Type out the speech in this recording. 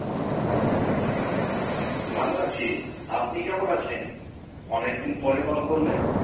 ভালো আছি। আপনি কেমন আছেন? অনেকদিন পরে কল করলেন।